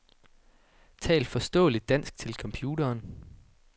Tal forståeligt dansk til computeren.